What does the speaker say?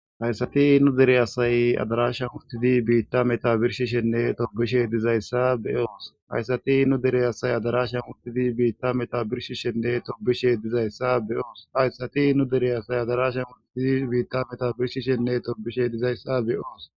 Hayssati u deeasay adarasha murtidi biitta metabirshishenne torbishe dizayssa be oos hayssati nu dere asay adarasha murtidi biitta metabirshishenne tobishe dizayssa eooshayssati nu dere asay adarasha murtidi biitta metabirshi shenne torbishe dizayssa be oos.